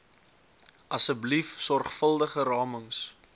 asseblief sorgvuldige ramings